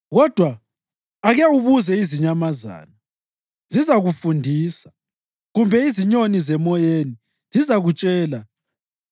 Kodwa ake ubuze izinyamazana, zizakufundisa, kumbe izinyoni zemoyeni, zizakutshela;